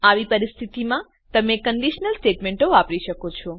આવી પરિસ્થિતિમાં તમે કંડીશનલ સ્ટેટમેંટો વાપરી શકો છો